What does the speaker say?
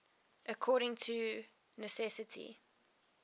according to necessity